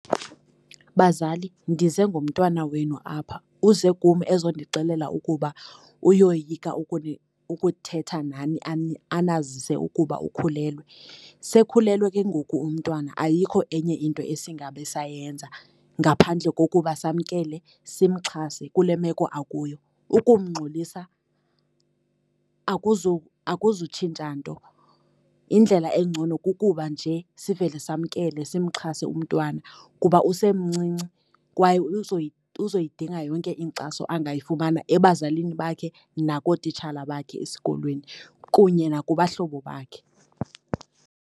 Bazali, ndize ngomntwana wenu apha. Uze kum ezondixelela ukuba uyoyika ukuthetha nani anazise ukuba ukhulelwe. Sekhulelwe ke ngoku umntwana ayikho enye into esingabe sayenza ngaphandle kokuba samkele, simxhase kule meko akuyo. Ukumngxolisa akuzutshintsha nto. Indlela engcono kukuba nje sivele samkele simxhase umntwana kuba usemncinci, kwaye uzoyidinga yonke inkxaso angayifumana ebazalini bakhe nakootitshala bakhe esikolweni, kunye nakubahlobo bakhe.